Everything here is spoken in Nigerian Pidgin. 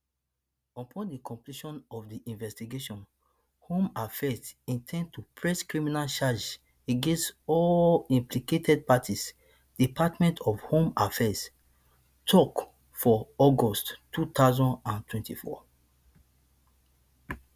upon di completion of di investigation home affairs in ten d to press criminal charges against all implicated parties department of home affairs tok for august two thousand and twenty-four